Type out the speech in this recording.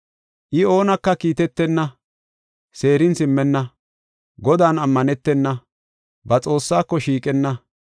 I oonaka kiitetenna; seerin simmenna; Godan ammanetena; ba Xoossaako shiiqenna.